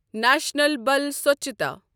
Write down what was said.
national بَل سۄچھتا